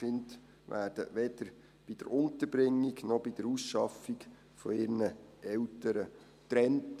Die Kinder werden weder bei der Unterbringung, noch bei der Ausschaffung von ihren Eltern getrennt.